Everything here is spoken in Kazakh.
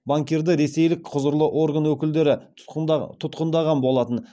банкирді ресейлік құзырлы орған өкілдері тұтқындаған болатын